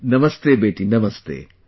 Namastey beti, namastey